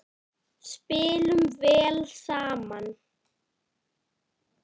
Spilum vel saman.